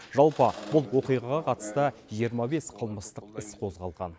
жалпы бұл оқиғаға қатысты жиырма бес қылмыстық іс қозғалған